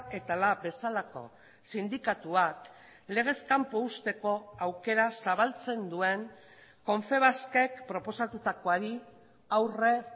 eta lab bezalako sindikatuak legez kanpo uzteko aukera zabaltzen duen confebaskek proposatutakoari aurre